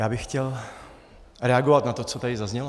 Já bych chtěl reagovat na to, co tady zaznělo.